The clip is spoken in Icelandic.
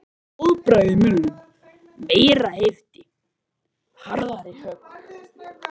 Blóðbragð í munninum. meiri heift. harðari högg.